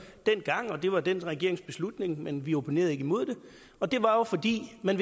dengang det var den regerings beslutning men vi opponerede ikke imod det og det var jo fordi man